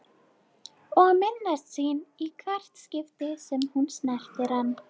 Og minnast sín í hvert skipti sem hún snerti hann.